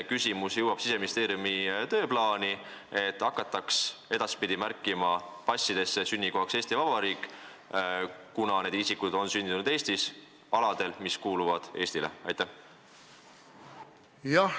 Kas Siseministeeriumi tööplaani jõuab see küsimus, et edaspidi hakataks passides märkima sünnikohaks Eesti Vabariik, kuna need isikud on sündinud Eestis, aladel, mis kuuluvad Eestile?